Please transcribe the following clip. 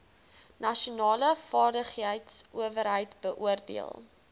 nasionale vaardigheidsowerheid beoordeel